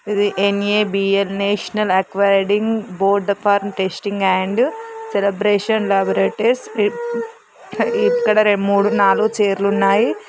ఇది NABL national accreditation board for testing and calibration laboratories. ఇక్కడ మూడు నాలుగు చైర్లు ఉన్నాయి.